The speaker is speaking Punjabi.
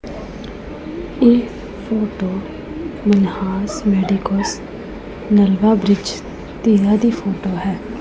ਇਹ photo Manhas medicos Nalwa bridge ਤਿਲਾ ਦੀ ਫੋਟੋ ਹੈ।